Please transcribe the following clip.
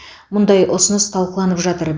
мұндай ұсыныс талқыланып жатыр